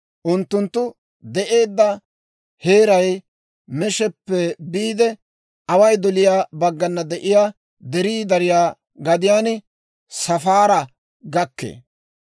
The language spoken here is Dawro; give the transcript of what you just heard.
Unttunttu de'eedda heeray Meeshappe biide away doliyaa baggana de'iyaa derii dariyaa gadiyaan Safaara gakkee.